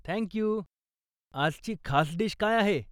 Thank you. आजची खास dish काय आहे?